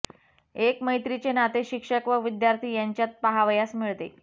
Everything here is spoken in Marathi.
एक मैत्री चे नाते शिक्षक व विद्यार्थी यांच्यात पहावयास मिळते